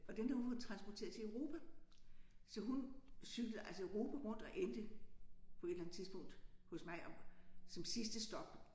Og den havde hun transporteret til Europa. Så hun cyklede altså Europa rundt og endte på et eller andet tidspunkt hos mig som sidste stop